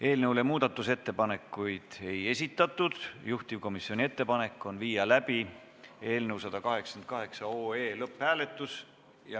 Eelnõu kohta muudatusettepanekuid ei esitatud ja juhtivkomisjoni ettepanek on viia läbi otsuse eelnõu 188 lõpphääletus.